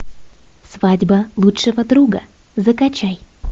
свадьба лучшего друга закачай